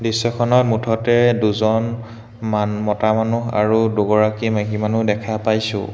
দৃশ্যখনত মুঠতে দুজন মান মতা মানুহ আৰু দুগৰাকী মাইকী মানুহ দেখা পাইছোঁ।